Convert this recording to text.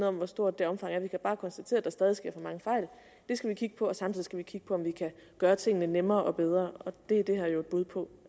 om hvor stort omfanget er vi kan bare konstatere at der stadig sker for mange fejl det skal vi kigge på og samtidig skal vi kigge på om vi kan gøre tingene nemmere og bedre og det er det her jo et bud på